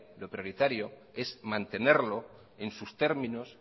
lo prioritario es mantenerlo en sus términos